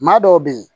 Maa dɔw be yen